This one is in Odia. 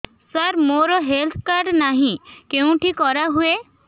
ସାର ମୋର ହେଲ୍ଥ କାର୍ଡ ନାହିଁ କେଉଁଠି କରା ହୁଏ